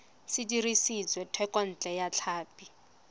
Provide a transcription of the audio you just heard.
se dirisitswe thekontle ya tlhapi